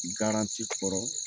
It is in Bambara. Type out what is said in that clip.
Garanti kɔrɔ.